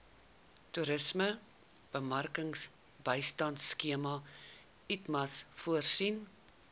toerismebemarkingbystandskema itmas voorsien